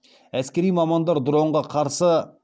әскери мамандар дронға қарсы